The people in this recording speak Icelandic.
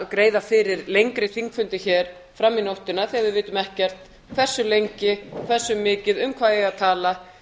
að greiða fyrir lengri þingfundi hér fram í nóttina þegar við vitum ekkert hversu lengi hversu mikið um hvað eigi að tala